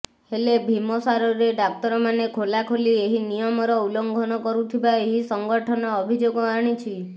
ହେଲେ ଭିମସାରରେ ଡାକ୍ତରମାନେ ଖୋଲାଖୋଲି ଏହି ନିୟମର ଉଲ୍ଲଂଘନ କରୁଥିବା ଏହି ସଂଗଠନ ଅଭିଯୋଗ ଆଣିଛି